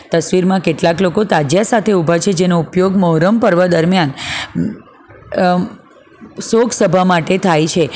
તસવીરમાં કેટલાક લોકો તાજીયા સાથે ઉભા છે જેનો ઉપયોગ મોહરમ પર્વ દરમિયાન અમ શોક સભા માટે થાય છે.